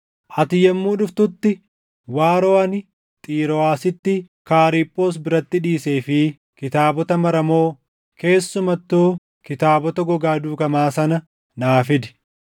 Ati yommuu dhuftutti waaroo ani Xirooʼaasitti Kaariphoos biratti dhiisee fi kitaabota maramoo, keessumattuu kitaabota gogaa duugamaa sana naa fidi.